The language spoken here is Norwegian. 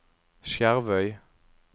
Skjervøy